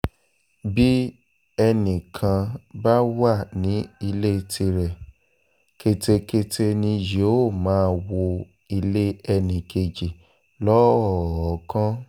bí ẹnì kan bá wà ní ilé tirẹ̀ ketekete ni yóò máa wọ ilé ẹnì kejì lọ́ọ̀ọ́kán